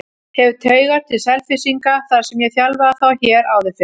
Hef taugar til Selfyssinga þar sem ég þjálfaði þá hér áður fyrr.